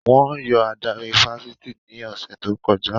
Wọ́n yọ adarí ifásitì ní ọ̀sẹ̀ tó kọjá